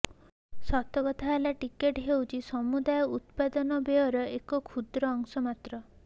ସତକଥା ହେଲା ଟିକସ ହେଉଛି ସମୁଦାୟ ଉତ୍ପାଦନ ବ୍ୟୟର ଏକ କ୍ଷୁଦ୍ର ଅଂଶ ମାତ୍ର